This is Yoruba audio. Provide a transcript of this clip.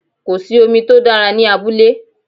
Kò sí omi tó dára ní abúlé